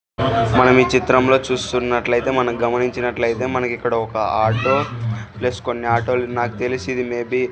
మనం ఈ చిత్రంలో చూస్తున్నట్లు అయితే మనం గమనించినట్లు అయితే మనకిక్కడ ఒక ఆటో ప్లస్ కొన్ని ఆటో లు నాకు తెలిసి ఇది మే బి --